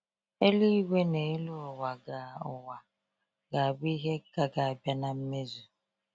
Eluigwe n'elu ụwa ga ụwa ga abụ ihe ka ga abịa na mmezu